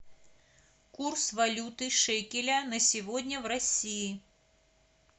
курс валюты шекеля на сегодня в россии